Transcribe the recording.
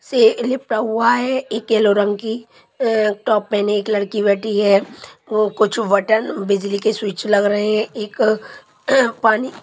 एक येलो रंग की टॉप पेहने एक लड़की बैठी है ओ कुछ बटन बिजली के स्विच लग रहे है एक पानी --